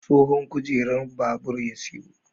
Tsohon kujerar babur ya sayo.